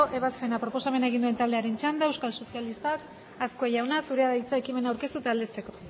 ebazpena proposamen egin duen taldearen txanda euskal sozialistak azkue jauna zurea da hitza ekimena aurkeztu eta aldezteko